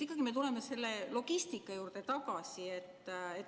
Ikkagi me tuleme selle logistika juurde tagasi.